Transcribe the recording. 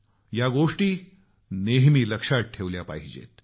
या गोष्टी नेहमी लक्षात ठेवल्या पाहिजेत